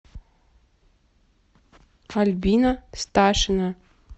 альбина сташина